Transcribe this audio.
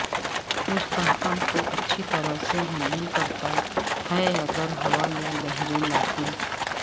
مستحکم اور اچھی طرح سے ہینڈل کرتا ہے اگر ہوا یا لہریں لاتیں